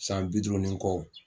San bi duuru ni kɔ.